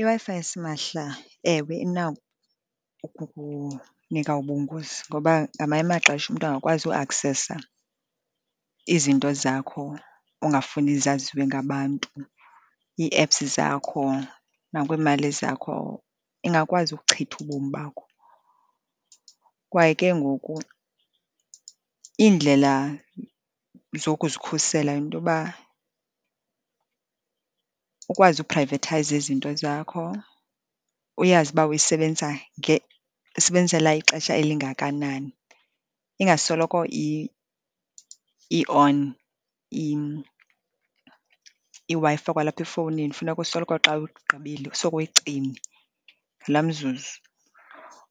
IWi-Fi yasimahla, ewe, inako ukunika ubungozi, ngoba ngamanye amaxesha umntu angakwazi ukuaksesa izinto zakho ongafuni zaziwe ngabantu, ii-apps zakho, nakwiimali zakho. Ingakwazi ubuchitha ubomi bakho, kwaye ke ngoku iindlela zokuzikhusela yinto yoba ukwazi ukuprayivethayiza izinto zakho, uyazi uba uyisebenzisa uyisebenzisela ixesha elingakanani, ingasoloko i-on iWi-Fi kwalapha efowunini. Funeka usoloko xa ugqibile sokuyicime laa mzuzu,